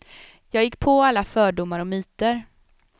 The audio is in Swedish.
Jag gick på alla fördomar och myter.